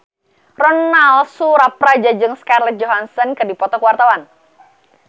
Ronal Surapradja jeung Scarlett Johansson keur dipoto ku wartawan